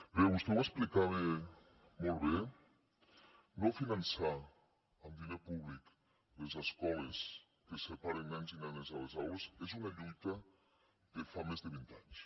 bé vostè ho explicava molt bé no finançar amb diner públic les escoles que separen nens i nenes a les aules és una lluita de fa més de vint anys